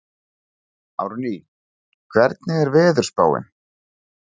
Árný, hvernig er veðurspáin?